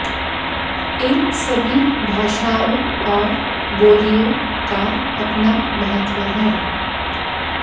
इन सभी भाषाओं और बोलियों का अपना महत्व है